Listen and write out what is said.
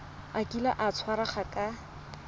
a kile a tshwarwa ka